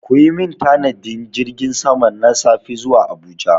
Ku yi min tanadin jirgin sama na safe zuwa Abuja!